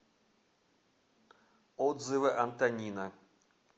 отзывы антонина